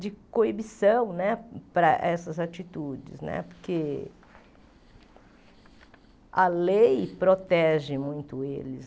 de coibição né para essas atitudes né, porque a lei protege muito eles.